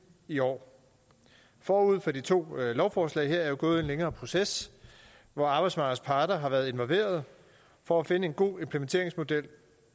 i år forud for de to lovforslag her er jo gået en længere proces hvor arbejdsmarkedets parter har været involveret for at finde en god implementeringsmodel